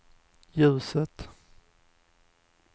ljuset